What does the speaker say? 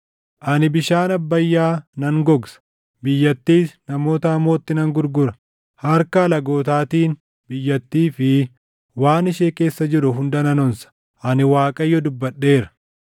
Ani bishaan Abbayyaa nan gogsa; biyyattiis namoota hamootti nan gurgura; harka alagootaatiin biyyattii fi waan ishee keessa jiru hunda nan onsa. Ani Waaqayyo dubbadheera.